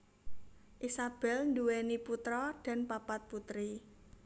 Isabel nduwèni putra dan papat putri